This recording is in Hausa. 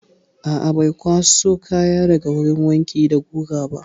A'a, bai kwaso kaya daga wurin wanki da guga ba.